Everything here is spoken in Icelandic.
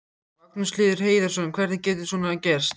Magnús Hlynur Hreiðarsson: Hvernig getur svona gerst?